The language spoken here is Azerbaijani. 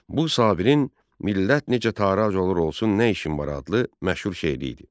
Bu Sabirin Millət necə tarac olur olsun nə işim var adlı məşhur şeiri idi.